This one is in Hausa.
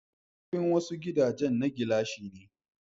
Kofofin wasu gidajan na gilashi ne.